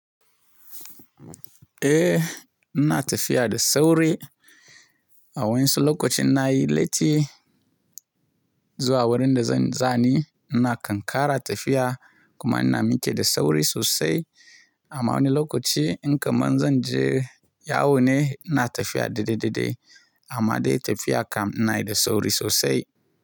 Eh, ina tafiya da sauri. A wani lokacin na yi latti zuwa wurin da zan zani, ina kankara tafiya kuma ina muke da sauri sosai. Amma wani lokaci in kamar zan je yawone ina tafiya daidai daidai amma dai tafiya kam ina yi da sauri sosai.